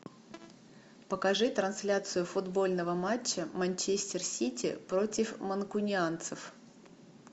покажи трансляцию футбольного матча манчестер сити против манкунианцев